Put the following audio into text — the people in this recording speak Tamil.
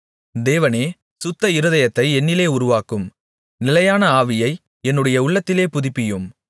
தேவனே சுத்த இருதயத்தை என்னிலே உருவாக்கும் நிலையான ஆவியை என்னுடைய உள்ளத்திலே புதுப்பியும்